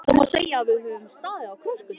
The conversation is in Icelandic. Það má segja að við höfum staðið á krossgötum.